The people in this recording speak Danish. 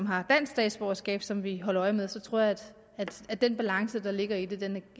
har dansk statsborgerskab som vi holder øje med så tror jeg at den balance der ligger i det